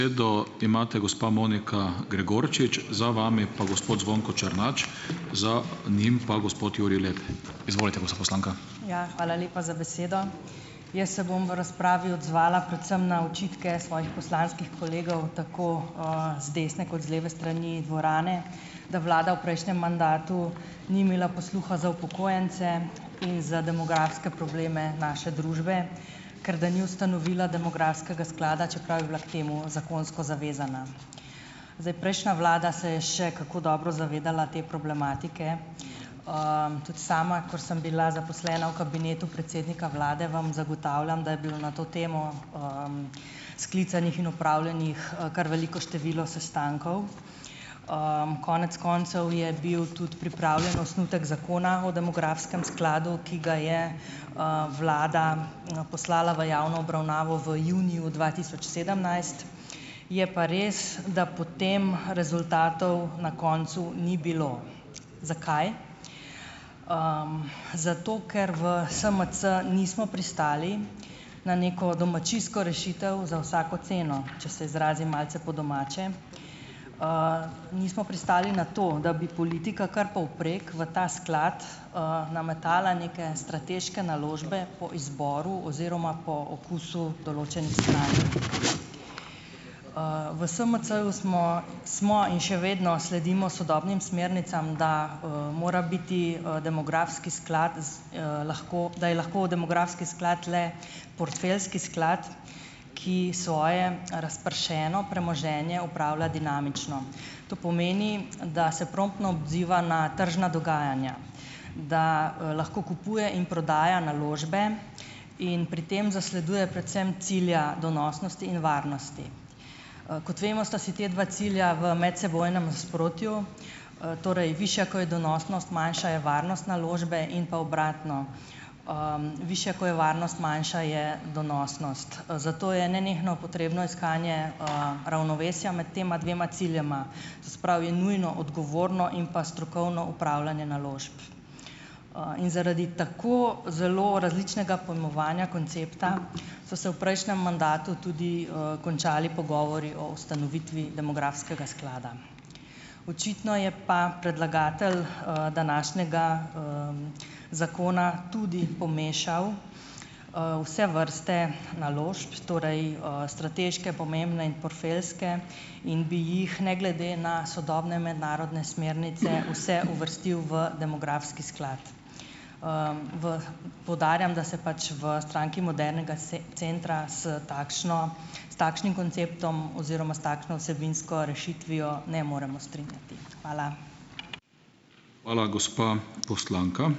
Ja, hvala lepa za besedo. Jaz se bom v razpravi odzvala predvsem na očitke svojih poslanskih kolegov, tako, z desne kot z leve strani dvorane, da vlada v prejšnjem mandatu ni imela posluha za upokojence in za demografske probleme naše družbe, ker da ni ustanovila demografskega sklada, čeprav je bila k temu zakonsko zavezana. Zdaj prejšnja vlada se je še kako dobro zavedala te problematike. Tudi sama, kar sem bila zaposlena v kabinetu predsednika vlade, vam zagotavljam, da je bilo na to temo, sklicanih in opravljenih, kar veliko število sestankov. Konec koncev je bil tudi pripravljen osnutek Zakona o demografskem skladu, ki ga je, vlada, poslala v javno obravnavo v juniju dva tisoč sedemnajst, je pa res, da potem rezultatov na koncu ni bilo. Zakaj? zato, ker v SMC nismo pristali na neko domačijsko rešitev za vsako ceno, če se izrazim malce po domače. Nismo pristali na to, da bi politika kar povprek v ta sklad, nametala neke strateške naložbe po izboru oziroma po okusu, V SMC-ju smo smo in še vedno sledimo sodobnim smernicam, da, mora biti, demografski sklad z, lahko da je lahko demografski sklad le portfeljski sklad, ki svoje razpršeno premoženje opravlja dinamično. To pomeni, da se promptno odziva na tržna dogajanja. Da, lahko kupuje in prodaja naložbe in pri tem zasleduje predvsem cilja donosnosti in varnosti. Kot vemo, sta si ta dva cilja v medsebojnem nasprotju, torej višja, ko je donosnost, manjša je varnost naložbe in pa obratno, višja, ko je varnost, manjša je donosnost. Zato je nenehno potrebno iskanje, ravnovesja med tema dvema ciljema, se pravi, je nujno odgovorno in pa strokovno opravljanje naložb. In zaradi tako zelo različnega pojmovanja koncepta so se v prejšnjem mandatu tudi, končali pogovori o ustanovitvi demografskega sklada. Očitno je pa predlagatelj, današnjega, zakona tudi pomešal, vse vrste naložb, torej, strateške, pomembne in portfeljske, in bi jih ne glede na sodobne mednarodne smernice vse uvrstil v demografski sklad. V, poudarjam, da se pač v Stranki modernega centra s takšno s takšnim konceptom oziroma s takšno vsebinsko rešitvijo ne moremo strinjati. Hvala.